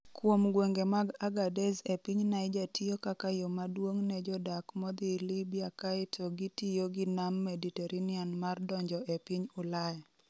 Kuom gwenge mag Agadez e piny Niger tiyo kaka yo maduong' ne jodak modhi Libya kaeto gitiyo gi Nam Mediterranean mar donjo e piny Ulaya.